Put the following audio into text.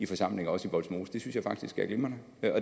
forsamling også i vollsmose det synes jeg faktisk er glimrende